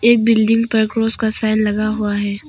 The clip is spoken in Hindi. एक बिल्डिंग पर क्रॉस का साइन लगा हुआ है।